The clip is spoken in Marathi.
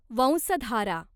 वंसधारा